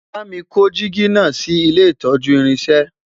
bámi kò jìgì nà sí ilé itọju irinṣẹ